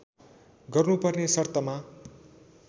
गर्नुपर्ने शर्तमा